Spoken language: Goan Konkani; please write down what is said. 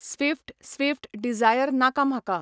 स्विफ्ट स्विफ्ट डिझायर नाका म्हाका.